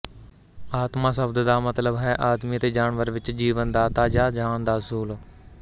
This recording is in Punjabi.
ਆਤਮਾ ਸ਼ਬਦ ਦਾ ਮਤਲਬ ਹੈ ਆਦਮੀ ਅਤੇ ਜਾਨਵਰ ਵਿਚ ਜੀਵਨਦਾਤਾ ਜਾਂ ਜਾਨ ਦਾ ਅਸੂਲ